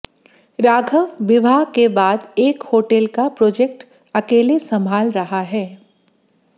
राघव विवाह के बाद एक होटल का प्रोजेक्ट अकेले संभाल रहा है